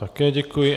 Také děkuji.